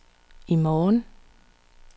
i morgen